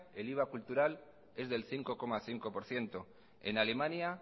el iva cultural es del cinco coma cinco por ciento en alemania